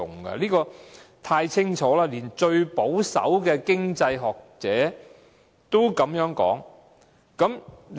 這一點太清楚，連最保守的經濟學者也這樣說。